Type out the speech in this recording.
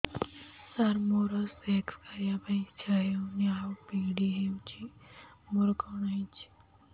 ସାର ମୋର ସେକ୍ସ କରିବା ପାଇଁ ଇଚ୍ଛା ହଉନି ଆଉ ପୀଡା ହଉଚି ମୋର କଣ ହେଇଛି